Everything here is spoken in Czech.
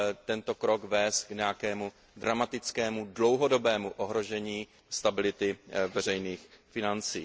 tento krok nesmí vést k nějakému dramatickému, dlouhodobému ohrožení stability veřejných financí.